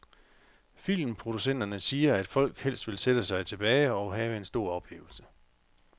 Filmproducenterne siger, at folk helst vil sætte sig tilbage og have en stor oplevelse.